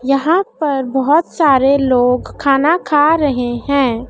यहां पर बहोत सारे लोग खाना खा रहे हैं।